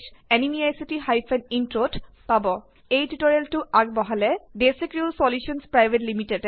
এই মিচন সম্পৰ্কে অধিক তথ্য আপুনি পাব spoken tutorialorgNMEICT Intro এই টিউটোৰিয়েলখন আগবঢ়াইছে দেচি ক্ৰিউ চলিউশ্যনছ পিভিটি